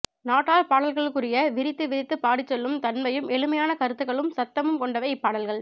நாட்டார்பாடல்களுக்குரிய விரித்து விரித்து பாடிச்செல்லும் தன்மையும் எளிமையான கருத்துக்க்ளும் சந்தமும் கொண்டவை இப்பாடல்கள்